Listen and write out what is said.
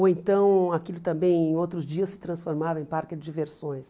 Ou então, aquilo também em outros dias se transformava em parque de diversões.